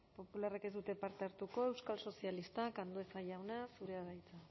popularrek ez dute parte hartuko euskal sozialistak andueza jauna zurea da hitza